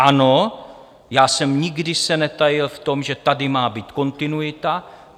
Ano, já jsem se nikdy netajil v tom, že tady má být kontinuita.